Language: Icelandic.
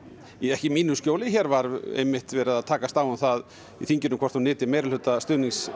ekki í mínu skjóli hér var einmitt verið að takast á um það í þinginu hvort hún nyti meirihluta stuðnings